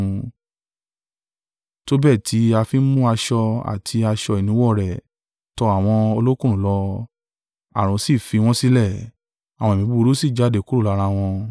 tó bẹ́ẹ̀ tí a fi ń mú aṣọ àti aṣọ ìnuwọ́ rẹ̀ tọ àwọn ọlọkùnrùn lọ, ààrùn sì fi wọ́n sílẹ̀, àwọn ẹ̀mí búburú sì jáde kúrò lára wọn.